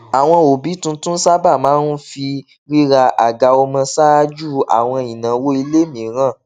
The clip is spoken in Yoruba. àwọn òbí tuntun sábà máa ń fi rira àga ọmọ ṣáájú àwọn ináwó ilé mìíràn